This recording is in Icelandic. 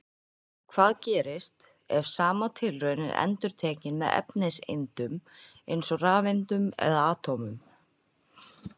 Hvað gerist, ef sama tilraun er endurtekin með efniseindum, eins og rafeindum eða atómum?